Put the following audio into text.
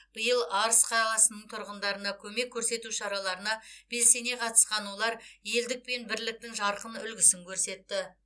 биыл арыс қаласының тұрғындарына көмек көрсету шараларына белсене қатысқан олар елдік пен бірліктің жарқын үлгісін көрсетті